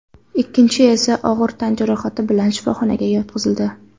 Ikkinchisi esa og‘ir tan jarohati bilan shifoxonaga yotqizildi.